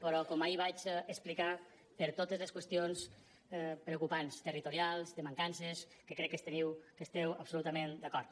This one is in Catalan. però com ahir vaig explicar per totes les qüestions preocupants territorials de mancances que crec que hi esteu absolutament d’acord